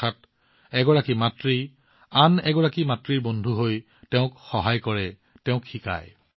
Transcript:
অৰ্থাৎ এগৰাকী মাতৃয়ে আন এগৰাকী মাতৃৰ বন্ধু হৈ তেওঁক সহায় কৰে শিকায়